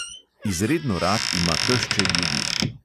Izredno rad ima tešče ljudi.